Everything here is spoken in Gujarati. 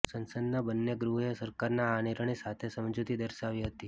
સંસદના બન્ને ગૃહોએ સરકારના આ નિર્ણય સાથે સમજૂતિ દર્શાવી હતી